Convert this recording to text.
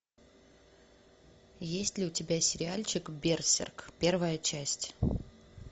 есть ли у тебя сериальчик берсерк первая часть